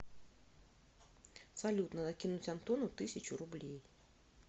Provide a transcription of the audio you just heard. салют надо кинуть антону тысячу рублей